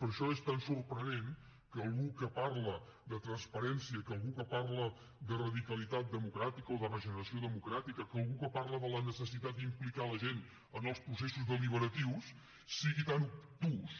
per això és tan sorprenent que algú que parla de transparència que algú que parla de radicalitat democràtica o de regeneració democràtica que algú que parla de la necessitat d’implicar la gent en els processos deliberatius sigui tan obtús